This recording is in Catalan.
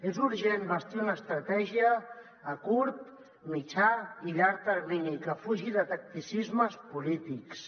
és urgent bastir una estratègia a curt mitjà i llarg termini que fugi de tacticismes polítics